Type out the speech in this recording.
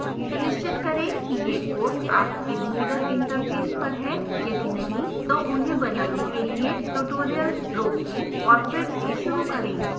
सुनिश्चित करें कि ये courses आपके moodle interface पर हैं यदि नहीं तो उन्हें बनाने के लिए ट्यूटोरियल रोकें और फिर से शुरू करें